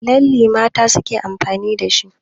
Lalle mata suke amfani da shi.